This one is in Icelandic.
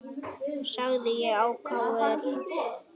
sagði ég ákafur.